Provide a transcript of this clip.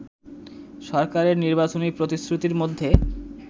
সরকারের নির্বাচনী প্রতিশ্রুতির মধ্যে